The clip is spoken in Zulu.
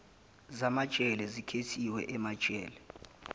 zamajele zikhethiwe emajele